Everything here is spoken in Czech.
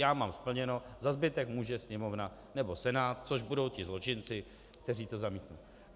Já mám splněno, za zbytek může Sněmovna nebo Senát, což budou ti zločinci, kteří to zamítnou.